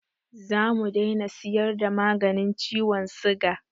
Zamu dai na siyar da maganin ciwon siga